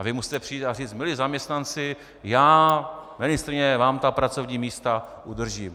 A vy musíte přijít a říct: Milí zaměstnanci, já, ministryně, vám ta pracovní místa udržím.